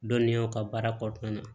Dɔnniyaw ka baara kɔnɔna na